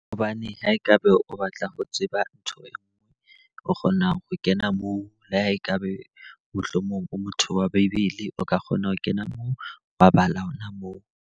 Hobane ha e ka br o batla ho tseba ntho e nngwe, o kgona ho kena moo. Le ha e ka be mohlomong o motho wa Bebele o ka kgona ho kena moo wabala hona moo.